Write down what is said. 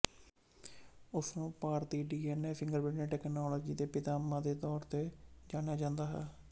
ਉਸ ਨੂੰ ਭਾਰਤੀ ਡੀਐਨਏ ਫਿੰਗਰਪ੍ਰਿੰਟਿੰਗ ਤਕਨਾਲੋਜੀ ਦੇ ਪਿਤਾਮਾ ਦੇ ਤੌਰ ਤੇ ਜਾਣਿਆ ਜਾਂਦਾ ਸੀ